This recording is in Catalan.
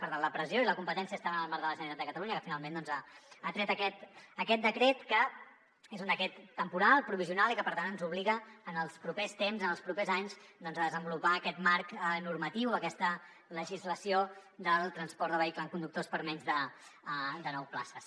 per tant la pressió i la competència estaven en el marc de la generalitat de catalunya que finalment doncs ha tret aquest decret que és un decret temporal provisional i que per tant ens obliga en els propers temps en els propers anys a desenvolupar aquest marc normatiu aquesta legislació del transport de vehicle amb conductors per a menys de nou places